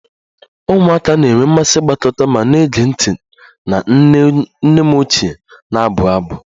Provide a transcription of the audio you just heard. Ụmụaka na-enwe mmasị ịgbakọta ma na-ege ntị na nne m ochie na-abụ abụ